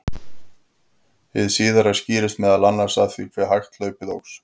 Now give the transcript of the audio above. hið síðara skýrist meðal annars af því hve hægt hlaupið óx